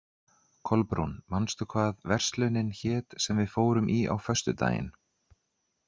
Kolbrún, manstu hvað verslunin hét sem við fórum í á föstudaginn?